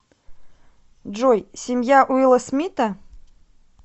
джой семья уилла смита